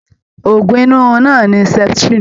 Òògùn inú rirun náà ní seputirini.